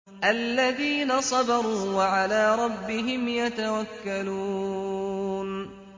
الَّذِينَ صَبَرُوا وَعَلَىٰ رَبِّهِمْ يَتَوَكَّلُونَ